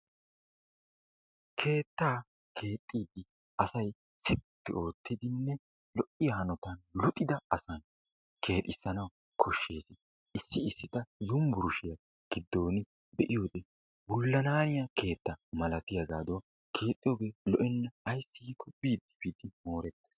Keettaa keexxidi asay sitti oottidinne lo"iyaa hanotan luxida asan keexxissanawu koshshees. Issi issi ta yunbburshshiyaa giddon be'iyoode wulananiyaaga mala keetta keexxooge lo"ena ayssi giiko biide biide morettees.